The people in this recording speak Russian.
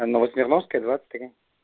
новосмирновская двадцать три